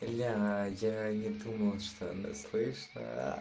бля я не думал что она слышит аа